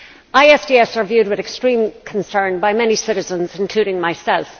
ISDS are viewed with extreme concern by many citizens including myself.